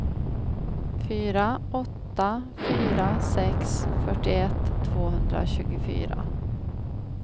fyra åtta fyra sex fyrtioett tvåhundratjugofyra